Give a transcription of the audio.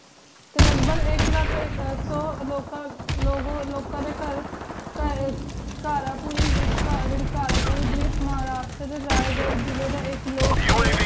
T ਲਘ ਬਾਘ ਆਇਕ ਲਖ ਆਇਕ ਸੋ ਲੋਕਾਂ ਲੋਕਾਂ ਡੀ ਕਰ ਕੇ ਕਰ ਪੂਰੀ ਜੀਰੀ ਕਰ ਪੂਰੀ ਡੇਪ ਮਹ੍ਰਾਸ਼੍ਟਰ ਜਿਲੀ ਦਾ ਆਇਕ ਲੋਗ ਦੇ